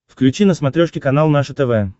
включи на смотрешке канал наше тв